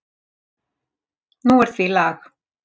Nú er því lag.